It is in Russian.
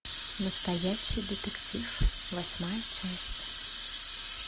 настоящий детектив восьмая часть